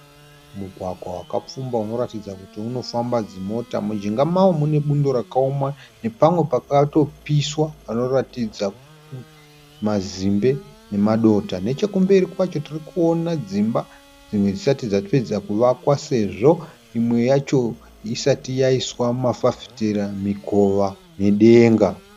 Mugwagwa wakapfumba unoratidza kuti unofamba dzimota. Mujinga mawo munebundo rakaoma nepamwe pakatopiswa panoratidza mazimbe nemadota. Nechekumberi kwacho tirikuona dzimba dzimwe dzisati dzapedza kuvakwa sezvo imwe yacho isati yaiswa mafafitera, mukova nedenga.